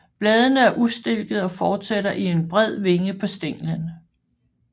Bladene er ustilkede og fortsætter i en bred vinge på stænglen